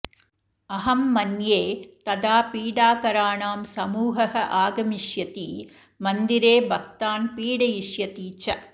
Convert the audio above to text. अहं मन्ये तदा पीडाकराणां समूहः आगमिष्यति मन्दिरे भक्तान् पीडयिष्यन्ति च